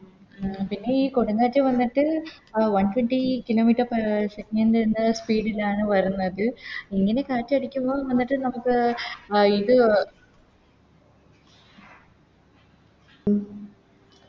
പിന്നെയി കൊടുംകാറ്റ് വന്നിട്ട് One twenty kilometer per second speed ലാണ് വരുന്നത് ഇങ്ങനെ കാറ്റടിക്കുമ്പോൾ നമക്ക് നമുക്ക് അഹ് ഇത്